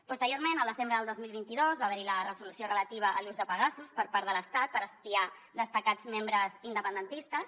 posteriorment al desembre del dos mil vint dos va haver hi la resolució relativa a l’ús de pegasus per part de l’estat per espiar destacats membres independentistes